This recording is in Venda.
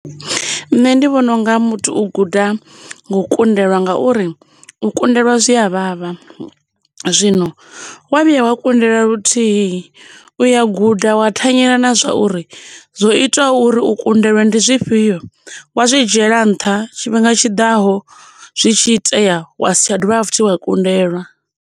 Nṋe ndi vhona unga muthu u guda nga u kundelwa ngauri u kundelwa zwi avhavha zwino wa vhuya wa kundelwa luthihi uya guda wa thanyela na zwa uri zwo ita uri u kundelwe ndi zwifhio wa zwi dzhiela nṱha tshifhinga tshiḓaho zwi tshi itea wa si tsha dovha futhi wa kundelwa.